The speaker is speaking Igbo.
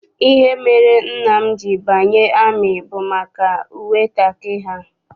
Ihe mere nna m ji banye amị bụ maka uwe kakị ha.